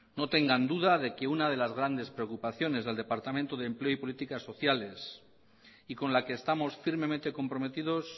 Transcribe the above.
no tengan duda de que una de las grandes preocupaciones del departamento de empleo y políticas sociales y con la que estamos firmemente comprometidos